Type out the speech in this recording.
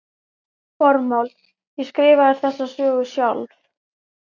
Formáli Ég skrifaði þessa sögu sjálf.